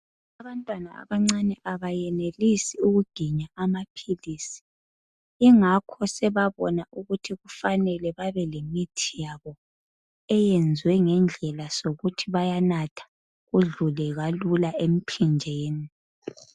Abantwana abancane abayenelisi ukuginya amamphilisi ingakho sebabona ukuthi kufanele bebelemithi yabo eyenzwe ngedlela zokuthi bayanatha kudlule kalula emzimbeni.